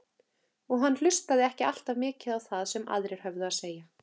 Og hann hlustaði ekki alltaf mikið á það sem aðrir höfðu að segja.